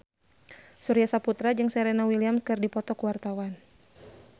Surya Saputra jeung Serena Williams keur dipoto ku wartawan